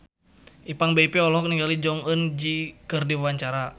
Ipank BIP olohok ningali Jong Eun Ji keur diwawancara